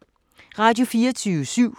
Radio24syv